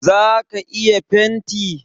ka iya fenti?